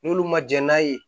N'olu ma jɛn n'a ye